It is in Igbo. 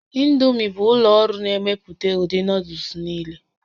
Indomi bụ ụlọ ọrụ na-emepụta ụdị nuuduls niile